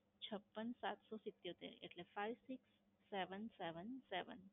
છપ્પન સાત સૌ સિત્યોતેર એટલે five six seven seven.